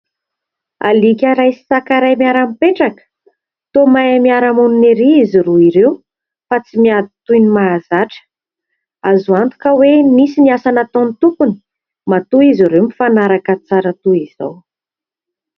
Alika iray sy saka iray miara-mipetraka, toa mahay miara-monina erỳ izy roa ireo, fa tsy miady toy ny mahazatra. Azo antoka hoe nisy ny asa nataon'ny tompony, matoa izy ireo mifanaraka tsara toy izao.